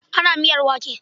Ana miyar wake.